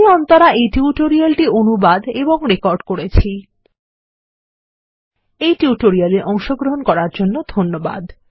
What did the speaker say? আমিঅন্তরা এই টিউটোরিয়াল টি অনুবাদ এবং রেকর্ড করেছিএইটিউটোরিয়াল এঅংশগ্রহন করার জন্য ধন্যবাদ